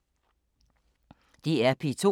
DR P2